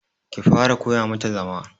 Ki fara koya ma ta zama.